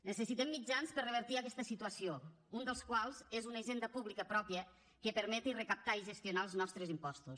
necessitem mitjans per revertir aquesta situació un dels quals és una hisenda pública pròpia que permeti recaptar i gestionar els nostres impostos